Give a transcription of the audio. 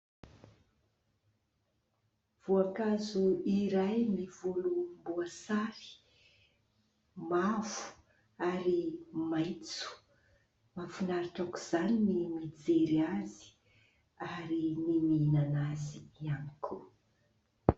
Voankazo iray mivolom-boasary, mavo ary maitso. Mahafinaritra aok'izany ny mijery azy, ary ny mihinana azy ihany koa.